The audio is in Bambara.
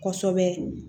Kosɛbɛ